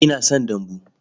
Ina son dambu.